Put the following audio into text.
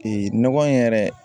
nɔgɔ in yɛrɛ